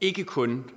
ikke kun